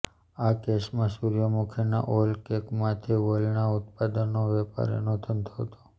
આ કેસમાં સૂર્યમુખીના ઓઈલ કેકમાંથી ઓઈલના ઉત્પાદનનો વેપારીનો ધંધો હતો